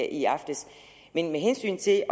i aftes men med hensyn til